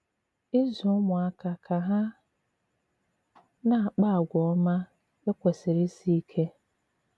Ịzụ̀ ùmụ̀àkà ka hà na-àkpà àgwà òmá ekwèsìrì ìsì ìkè.